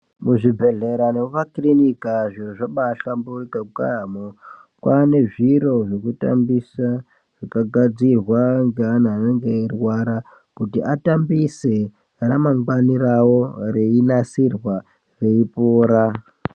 Muzvibhedhlera nemumakiriniki aya zviro zvabahlamburika kwaamo kwane zviro zvokutambisa zvakagadzirwa ngeana anenge eirwara kuti atambise ramangwani rawo reinasirwa veipora